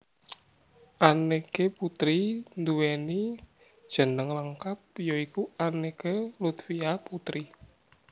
Anneke Putri nduwèni jeneng lengkap ya iku Anneke Lutfia Puteri